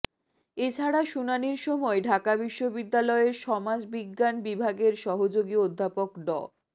এ ছাড়া শুনানির সময় ঢাকা বিশ্ববিদ্যালয়ের সমাজ বিজ্ঞান বিভাগের সহযোগী অধ্যাপক ড